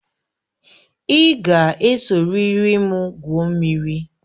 Ị ga esoriri m gwuo mmiri